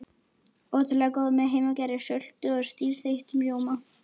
Ótrúlega góðar með heimagerðri sultu og stífþeyttum rjóma.